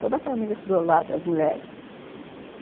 Toda a família estudou lá, das mulheres.